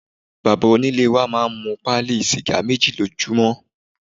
Bàbá onílé wa máa ń mu pálí sìgá méjì lójúmọ́.